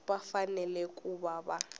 va fanele ku va va